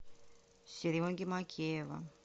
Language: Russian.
сереги мокеева